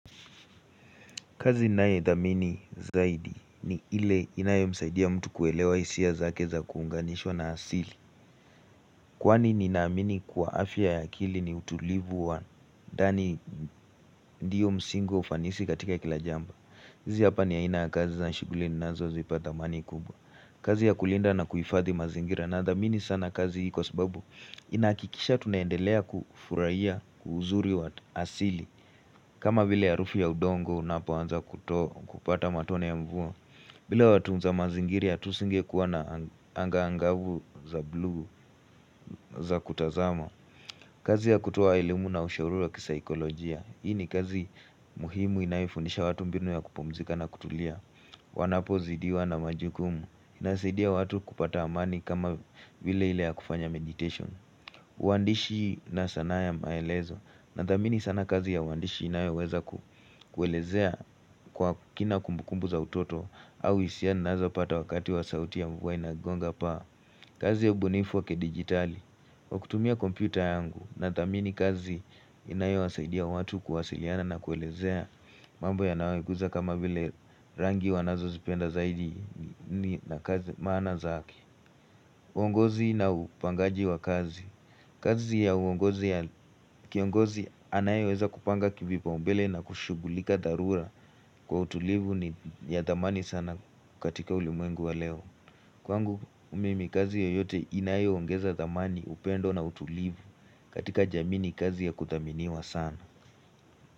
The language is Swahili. Kazi ninayeidhamini zaidi ni ile inayemsaidia mtu kuelewa isia zake za kuunganishwa na asili Kwani ninaamini kuwa afya ya akili ni utulivu wa ndani ndiyo msingo ufanisi katika kila jambo hizi hapa ni aina ya kazi za shughuli ninazozipa dhamani kubwa kazi ya kulinda na kuhifadhi mazingira nadhamini sana kazi hii kwa sababu inahakikisha tunaendelea kufurahia uzuri wa asili kama vile harufu ya udongo unapoanza kupata matone ya mvua bila watunza mazingiri ya tusingekuwa na anga angavu za blu za kutazama kazi ya kutoa elimu na ushauri wa kisaekolojia hii ni kazi muhimu inayefundisha watu mbinu ya kupumzika na kutulia Wanapozidiwa na majukumu Inasidia watu kupata amani kama vile ile ya kufanya meditation uandishi na sanaa ya maelezo nadhamini sana kazi ya uandishi inayeweza kuelezea kwa kina kumbukumbu za utoto au isia ninazopata wakati wa sauti ya mvua inagonga paa kazi ya ubunifu wakidigitali wa kutumia kompyuta yangu nathamini kazi inayewasaidia watu kuwasiliana na kuelezea mambo yanayowaguza kama vile rangi wanazozipenda zaidi na kazi maana zake uongozi na upangaji wa kazi kazi ya uongozi ya kiongozi anayeweza kupanga kivipaombele na kushugulika dharura kwa utulivu ni ya thamani sana katika ulimwengu wa leo. Kwangu umimi kazi yoyote inayo ongeza dhamani upendo na utulivu katika jamini ni kazi ya kudhaminiwa sana.